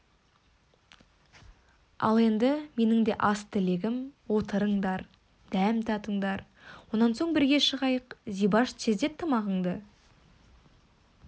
ал енді менің де аз тілегім отырыңдар дәм татыңдар онан соң бірге шығайық зибаш тездет тамағыңды